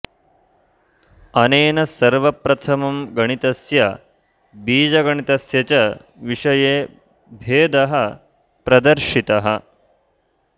अनेन सर्वप्रथमं गणितस्य बीजगणितस्य च विषये भेदः प्रदर्शितः